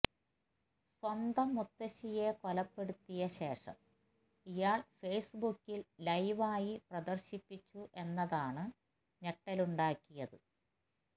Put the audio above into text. സ്വന്തം മുത്തശ്ശിയെ കൊലപ്പെടുത്തിയ ശേഷം ഇയാൾ ഫെയിസ്ബുക്കിൽ ലൈവായി പ്രദർശിപ്പിച്ചു എന്നതാണ് ഞെട്ടലുണ്ടാക്കിയത്